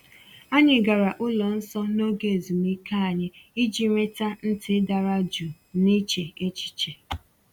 Anyị gara ụlọ nsọ n’oge ezumike anyị iji nweta ntị dara jụụ na iche echiche.